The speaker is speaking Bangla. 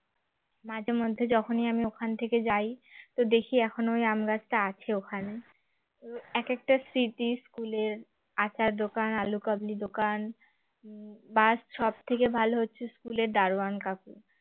মাঝে মধ্যে যখনই আমি ওখান থেকে যাই তো দেখি এখনো ওই আম গাছটা আছে ওখানে একেকটা স্মৃতি school এর আচার দোকান আলু কাবলির দোকান বা সবথেকে ভালো হচ্ছে school এর দারোয়ান কাকু